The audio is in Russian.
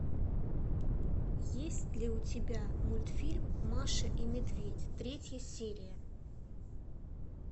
есть ли у тебя мультфильм маша и медведь третья серия